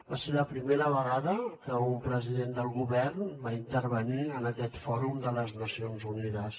va ser la primera vegada que un president del govern va intervenir en aquest fòrum de les nacions unides